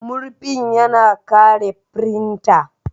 Murfin ya na kare firinta.